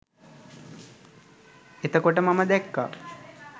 එතකොට මම දැක්කා